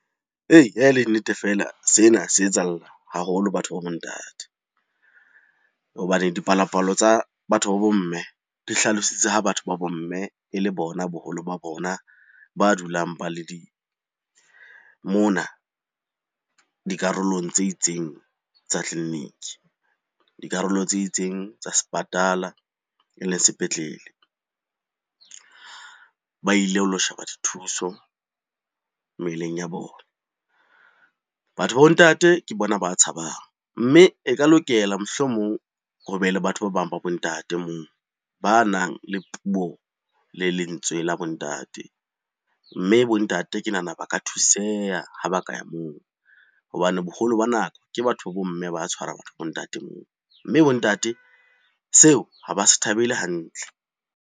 Ee, ha e le nnete feela sena se etsahalla haholo batho ba bo ntate. Hobane dipalo-palo tsa batho ba bo mme di hlalositse ha batho ba bo mme e le bona boholo ba bona ba dulang ba le mona dikarolong tse itseng tsa tleliniki, dikarolo tse itseng tsa sepatala e leng sepetlele. Ba ile ho lo sheba dithuso mmeleng ya bona. Batho ba bo ntate ke bona ba tshabang, mme e ka lokela mohlomong ho be le batho ba bang ba bo ntate moo banang le puo le lentswe la bo ntate. Mme bo ntate ke nahana ba ka thuseha ha ba ka ya moo hobane boholo ba nako ke batho ba bo mme ba tshwarang bo ntate moo, mme bo ntate seo ha ba se thabele hantle.